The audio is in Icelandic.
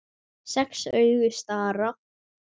Sex augu stara.